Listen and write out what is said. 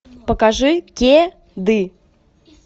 покажи ке ды